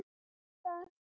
Ekki að ræða það.